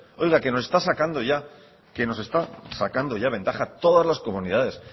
oiga que no está sacando ya que nos está sacando ya ventaja todas las comunidades